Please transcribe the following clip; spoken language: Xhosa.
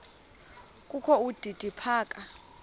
kokho udidi phaka